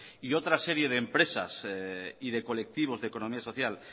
y otra serie de empresas y de colectivos de economía social